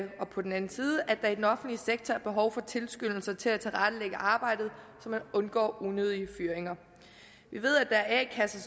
på den anden side at der i den offentlige sektor er behov for tilskyndelser til at tilrettelægge arbejdet så man undgår unødige fyringer vi ved at der er a kasser